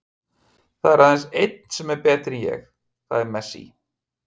Það er aðeins einn sem er betri en ég, það er Messi.